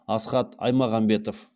асхат аймағамбетов